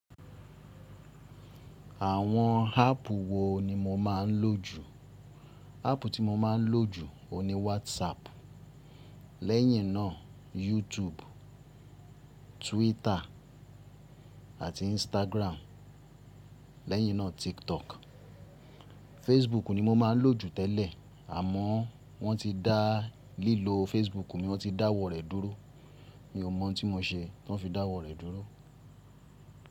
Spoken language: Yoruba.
Àwọn háàpù wo ni mo máa ń lò jù? Háàpù tí mo máa ń lò jù oun ni WhatsApp, lẹ́yìn náà YouTube, Twitter àti Instagram, lẹ́yìn náà TikTok. Facebook ni mo máa ń lò jù tẹ́lẹ̀ àmọ́ wọ́n ti dá lílo Facebook mi, wọ́n ti dáwọ́ rẹ̀ dúró. Mi ò mọ̀ tí mo ṣe tán fi dáwọ́ rẹ̀ dúró.